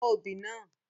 Fọ́ obì náà!